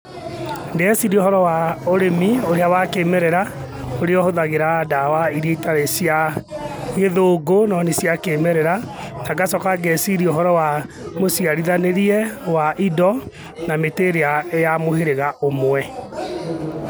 Ndĩreciria ũhoro wa, ũrĩmi ũrĩa wa kĩmerera, ũrĩa ũhũthagira ndawa iria itarĩ cia, gĩthũngũ, no nĩ cia kĩmerera. Na ngacoka ngeciria ũhoro wa, mũciarithanĩrie wa indo na mĩtĩ ĩrĩa ya mũhĩrĩga ũmwe.